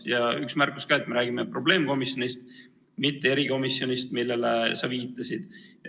Ja üks märkus ka: me räägime probleemkomisjonist, mitte erikomisjonist, millele sa viitasid.